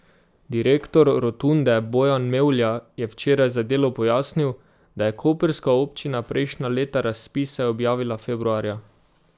Direktor Rotunde Bojan Mevlja je včeraj za Delo pojasnil, da je koprska občina prejšnja leta razpise objavila februarja.